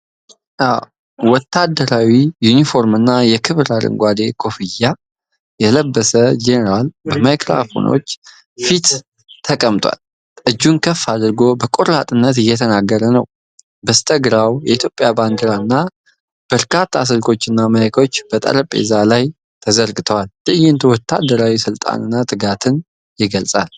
ወታደራዊ ዩኒፎርምና የክብር አረንጓዴ ኮፍያ የለበሰ ጄኔራል በማይክሮፎኖች ፊት ተቀምጧል። እጁን ከፍ አድርጎ በቆራጥነት እየተናገረ ነው። በስተግራው የኢትዮጵያ ባንዲራ እና በርካታ ስልኮችና ማይኮች በጠረጴዛው ላይ ተዘርግተዋል። ትዕይንቱ ወታደራዊ ስልጣንና ትጋትን ይገልጻል።